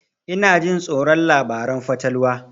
Ina jin tsoron labaran fatalwa